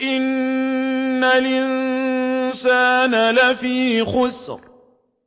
إِنَّ الْإِنسَانَ لَفِي خُسْرٍ